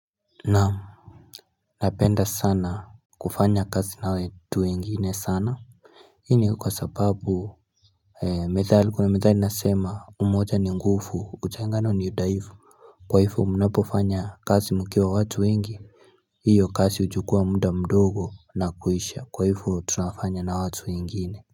Naam Napenda sana kufanya kazi na watu wengine sana Hii ni kwa sababu Methali kuna methali inasema umoja ni ngufu utengano ni udaifu kwa hifo mnapofanya kazi mkiwa watu wengi hiyo kazi huchukuwa mda mdogo na kuisha kwa hifo tunafanya na watu wengine.